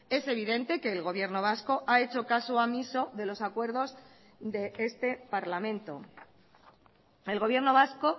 es evidente que el gobierno vasco ha hecho caso omiso de los acuerdos de este parlamento el gobierno vasco